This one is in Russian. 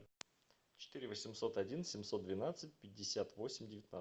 четыре восемьсот один семьсот двенадцать пятьдесят восемь девятнадцать